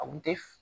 A kun te